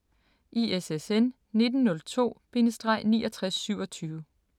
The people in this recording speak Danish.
ISSN 1902-6927